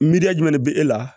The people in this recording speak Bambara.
Miiriya jumɛn de be e la